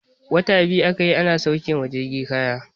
Wata biyu aka yi ana sauke wa jirgin kaya.